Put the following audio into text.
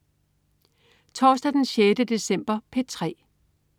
Torsdag den 6. december - P3: